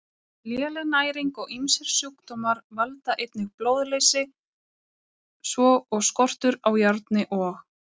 Léleg næring og ýmsir sjúkdómar valda einnig blóðleysi svo og skortur á járni og